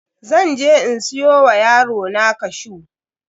Zan je in siyo wa yarona cashew.